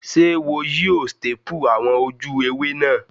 Sé wo yio staple àwon ojú ewé náà